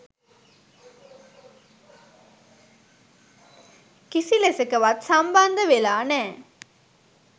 කිසිලෙසකවත් සම්බන්ධ වෙලා නැ.